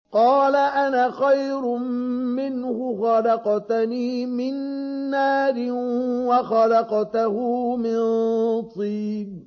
قَالَ أَنَا خَيْرٌ مِّنْهُ ۖ خَلَقْتَنِي مِن نَّارٍ وَخَلَقْتَهُ مِن طِينٍ